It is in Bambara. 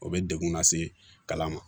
O bɛ degun lase kalan ma